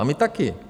A my také.